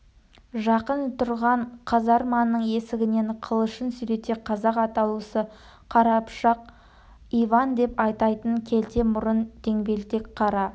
жақын тұрған казарманың есігінен қылышын сүйрете қазақ атаулысы қарапұшық иван деп атайтын келте мұрын деңбелтек қара